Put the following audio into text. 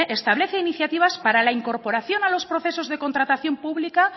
establece iniciativas para la incorporación a los procesos de contratación pública